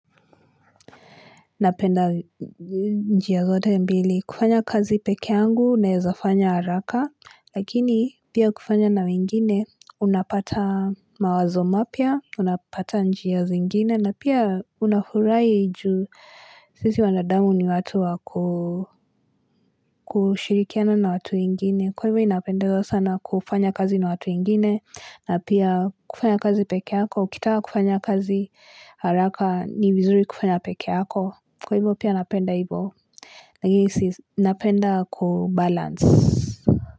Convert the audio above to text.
Napenda njia zote mbili. Kufanya kazi peke yangu naezafanya haraka. Lakini pia kufanya na wengine unapata mawazo mapya. Unapata njia zingine. Na pia unafurahi ju sisi wanadamu ni watu waku kushirikiana na watu wengine. Kwa hivyo mimi napenda sana kufanya kazi na watu wengine. Na pia kufanya kazi peke yako. Ukitaka kufanya kazi haraka ni vizuri kufanya peke yako. Kwa hivyo pia napenda hivyo Nahisi napenda kubalansi.